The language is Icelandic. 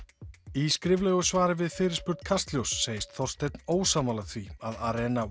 í skriflegu svari við fyrirspurn Kastljóss segist Þorsteinn ósammála því að